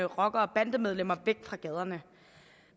rockere og bandemedlemmer væk fra gaderne